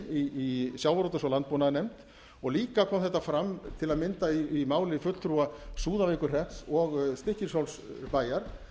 i sjávarútvegs og landbúnaðarnefnd og líka kom þetta fram til að mynda í máli fulltrúa súðavíkurhrepps og stykkishólmsbæjar